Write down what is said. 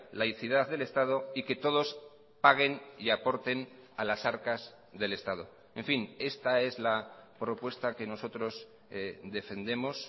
laicidad del estado y que todos paguen y aporten a las arcas del estado en fin esta es la propuesta que nosotros defendemos